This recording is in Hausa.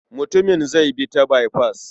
Mutumin zai bi ta baifas.